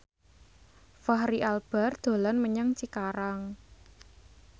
Fachri Albar dolan menyang Cikarang